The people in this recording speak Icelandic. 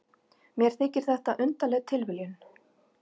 Mér þykir þetta undarleg tilviljun.